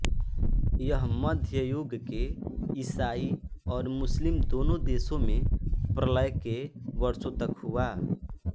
यह मध्य युग के ईसाई और मुस्लिम दोनों देशों में प्रलय के वर्षों तक हुआ